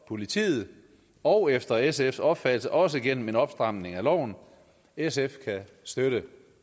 politiet og efter sfs opfattelse også gennem en opstramning af loven sf kan støtte